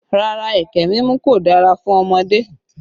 Rárá, ẹkẹ mímu kò dára fún ọmọdé